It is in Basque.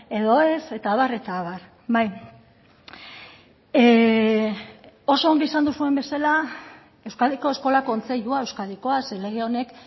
edo ez eta abar eta abar oso ongi esan duzuen bezala euskadiko eskola kontseilua euskadikoa ze lege honek